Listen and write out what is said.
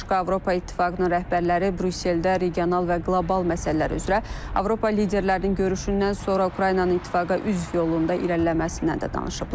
Bundan başqa Avropa İttifaqının rəhbərləri Brüsseldə regional və qlobal məsələlər üzrə Avropa liderlərinin görüşündən sonra Ukraynanın İttifaqa üzv yolunda irəliləməsindən də danışıblar.